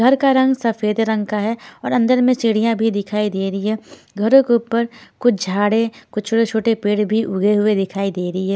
घर का रंग सफेद रंग का है और अंदर में चिड़ियां भी दिखाई दे रही है घरों के ऊपर कुछ झाड़ें कुछ छोटे छोटे पेड़ भी उगे हुए दिखाई दे रही है।